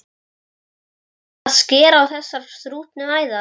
Langar að skera á þessar þrútnu æðar.